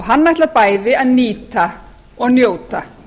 hann ætlar bæði að nýta og njóta